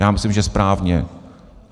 Já myslím, že správně.